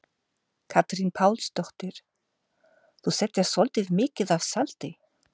Katrín Pálsdóttir: Þú settir svolítið mikið af salti?